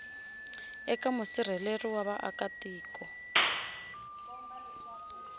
eka musirheleli wa vaaka tiko